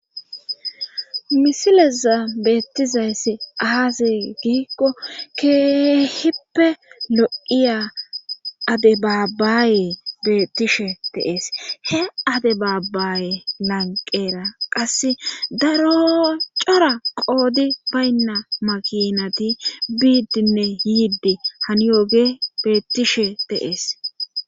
Misileza beettizayssi aazi giikko keehippe lo7iya adebaabbaaye beettishe de'ees he ade baabaaye lanqera qasse daro cora qoodi baynna makinati biiddinne yiiddi haniyooge beettishe de'ees.